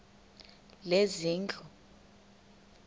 lezezindlu